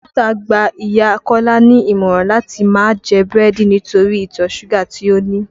Dókítà gbá ìyá Kọ́lá ní ìmọ̀ràn láti máa jẹ búrẹ́dì nítorí ìtọ̀ súgà tí ó ní